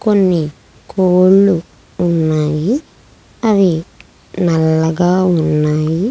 కొన్ని కోళ్లు ఉన్నాయి అవి నల్లగా ఉన్నాయి.